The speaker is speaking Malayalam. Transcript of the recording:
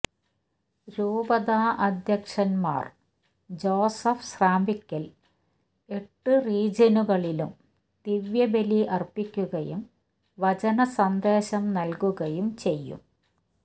രൂപതാധ്യക്ഷന് മാര് ജോസഫ് സ്രാമ്പിക്കല് എട്ടു റീജിയനുകളിലും ദിവ്യബലി അര്പ്പിക്കുകയും വചനസന്ദേശം നല്കുകയും ചെയ്യും